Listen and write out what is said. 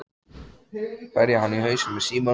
Berja hann í hausinn með símanum?